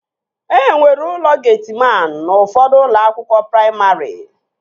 Enwere ụlọ getiman n'ufọdụ ụlọakwụkwọ praimarị